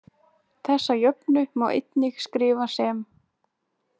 Þessa jöfnu má einnig skrifa sem